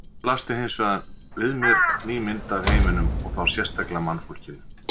Nú blasti hins vegar við mér ný mynd af heiminum og þá sérstaklega mannfólkinu.